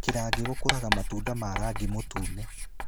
Kirangi gũkũraga matunda ma rangi mũtune.